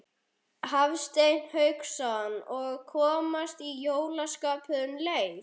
Hafsteinn Hauksson: Og komast í jólaskapið um leið?